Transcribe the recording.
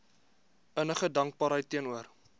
innige dankbaarheid teenoor